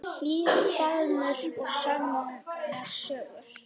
Hlýr faðmur og sannar sögur.